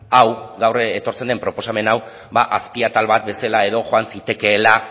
hau gaur etortzen den proposamen hau ba azpiatal bat bezala edo joan zitekeela